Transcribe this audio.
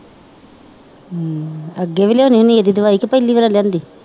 ਅੱਗੇ ਵੀ ਲਿਆਉਨੀ ਹੁਨੀ ਇਹਦੇ ਦਵਾਈ ਕਿ ਪਹਿਲੀ ਵਾਰੀ ਲਿਆਂਦੀ